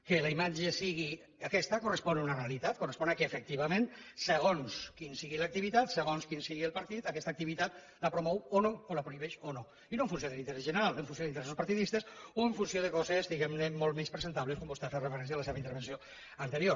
que la imatge sigui aquesta correspon a una realitat correspon al fet que efectivament segons quina sigui l’activitat segons quin sigui el partit aquesta activitat la promou o no o la prohibeix o no i no en funció de l’interès general en funció d’interessos partidistes o en funció de coses diguem ne molt menys presentables com vostè hi ha fet referència en la seva intervenció anterior